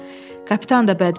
Kapitan da bədmin idi.